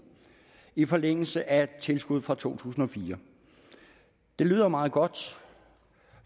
i forlængelse af et tilskud fra to tusind og fire det lyder meget godt